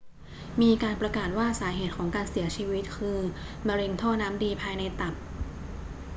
มีการประกาศว่าสาเหตุของการเสียชีวิตคือมะเร็งท่อน้ำดีภายในตับ